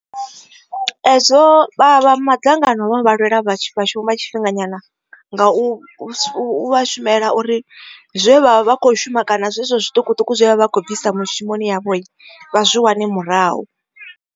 Hezwo vha vha madzangano vha lwela vhashumi vha tshifhinganyana nga u vha shumela uri zwe vha vha kho shuma kana zwezwo zwiṱukuṱuku zwe vha vha khou bvisa mushumoni yavho vha zwe wane murahu.